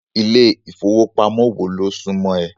Ilé ìfowópamọ́ wo ló súmọ́ ẹ?